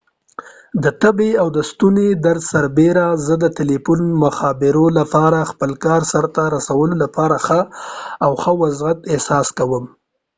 د تبې او ستوني درد سربیره زه د تلیفون مخابراتو له لارې خپل کار سرته رسولو لپاره ښه او ښه وضعیت احساس کوم